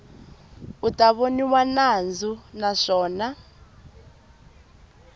u ta voniwa nandzu naswona